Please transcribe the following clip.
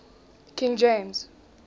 king james